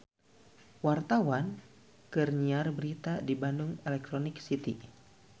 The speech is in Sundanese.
Wartawan keur nyiar berita di Bandung Electronic City